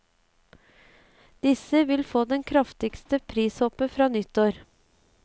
Disse vil få det kraftigste prishoppet fra nyttår.